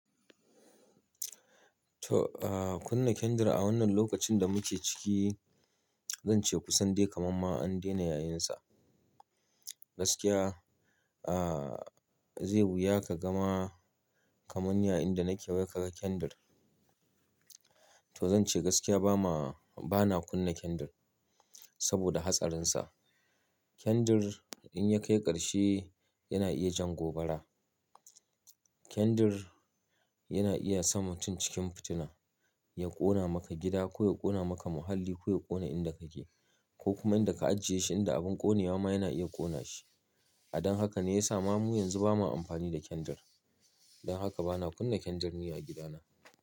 To, ah, kunna kendir a wannan lokacin da muke ciki, zan ce kusan dai kamamma an dena yayinsa. Gaskiya, ah, zai wuya ka gama kamun yayinda nake wai ka ga kendir. To zan ce gaskiya ba ma, bana kunna kendir saboda hatsarin sa. Kendir in ya kai karshe yana iya jan gobara. Kendir yana iya samar mun cikin fitina, ya ƙona maka gida ko ya ƙona maka muhalli ko ya ƙona inda kake ko kuma inda ka ajiye shi in da abin ƙonewa ma yana iya ƙona shi. A dan haka ne ya sa ma mu yanzu ba ma amfani da kendir. Dan haka bana kunna kendir ni a gida na.